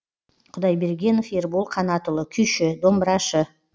құдайбергенов ербол қанатұлы күйші домбырашы